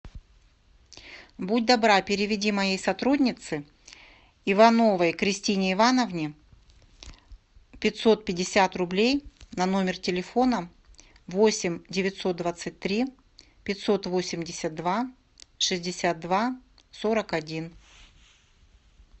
будь добра переведи моей сотруднице ивановой кристине ивановне пятьсот пятьдесят рублей на номер телефона восемь девятьсот двадцать три пятьсот восемьдесят два шестьдесят два сорок один